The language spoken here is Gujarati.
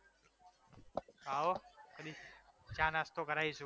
આવો કદી ચા નાસ્તો કરાઈશુ